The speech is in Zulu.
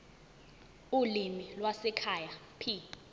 ulimi lwasekhaya p